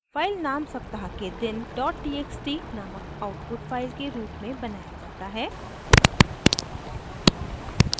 file नाम सप्ताह के दिन dot txt नामक आउटपुट फाइल के रूप में बनया जाता है